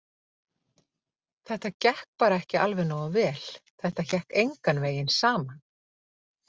Þetta gekk bara ekki alveg nógu vel, þetta hékk engan veginn saman.